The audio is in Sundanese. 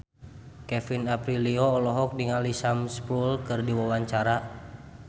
Kevin Aprilio olohok ningali Sam Spruell keur diwawancara